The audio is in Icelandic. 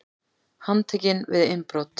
Handtekinn við innbrot